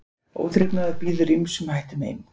Óþrifnaður býður ýmsum hættum heim.